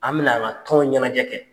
An bɛna an ka tɔn ɲɛnajɛ kɛ.